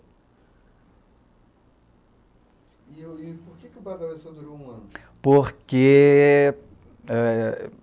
E e por que o Badalé só durou um ano? Por que ah...